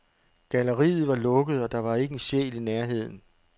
Galleriet var lukket, og der var ikke en sjæl i nærheden.